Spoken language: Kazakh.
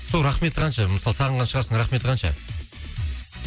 сол рахметі қанша мысалы сағынған шығарсың рахметі қанша